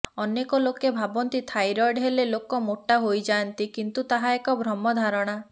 ଅନେକ ଲୋକେ ଭାବନ୍ତି ଯେ ଥାଇରଏଡ଼୍ ହେଲେ ଲୋକ ମୋଟା ହୋଇଯାଆନ୍ତି କିନ୍ତୁ ତାହା ଏକ ଭ୍ରମ ଧାରଣା